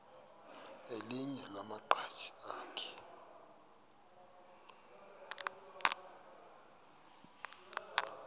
elinye lamaqhaji akhe